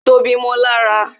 Tobi mó lára